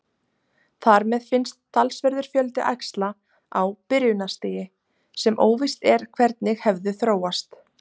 Þar með finnst talsverður fjöldi æxla á byrjunarstigi sem óvíst er hvernig hefðu þróast.